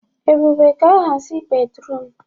Ebube ga-ahazi bédrụum.